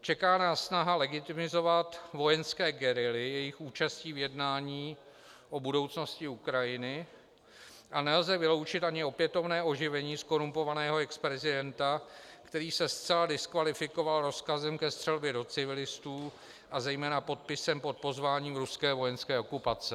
Čeká nás snaha legitimizovat vojenské gerily jejich účastí v jednání o budoucnosti Ukrajiny a nelze vyloučit ani opětovné oživení zkorumpovaného exprezidenta, který se zcela diskvalifikoval rozkazem ke střelbě do civilistů a zejména podpisem pod pozváním ruské vojenské okupace.